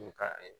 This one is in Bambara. U ka